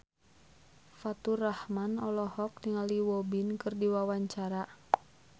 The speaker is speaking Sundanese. Faturrahman olohok ningali Won Bin keur diwawancara